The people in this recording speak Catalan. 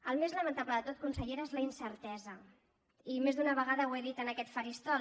el més lamentable de tot consellera és la incertesa i més d’una vegada ho he dit en aquest faristol